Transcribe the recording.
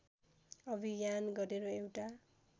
अभियान गरेर एउटा